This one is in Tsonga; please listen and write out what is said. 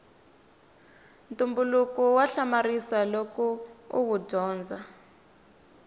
ntumbuluko wa hamarisa loko uwu dyondza